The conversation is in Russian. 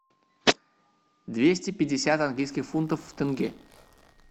двести пятьдесят английских фунтов в тенге